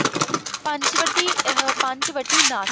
ਪੰਚਵਟੀ ਆਹ ਪੰਚਵਟੀ ਨਾ